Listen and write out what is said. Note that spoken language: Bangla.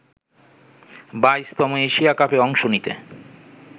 ১২তম এশিয়া কাপে অংশ নিতে